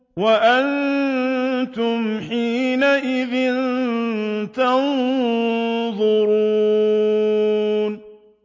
وَأَنتُمْ حِينَئِذٍ تَنظُرُونَ